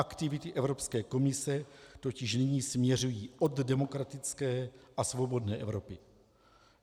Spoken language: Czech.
Aktivity Evropské komise totiž nyní směřují od demokratické a svobodné Evropy.